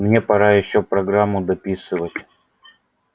мне пора ещё программу дописывать